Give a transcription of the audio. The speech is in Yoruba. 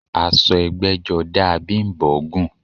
Aṣọ ẹgbẹ́jọdá a Bím̀bọ́ gùn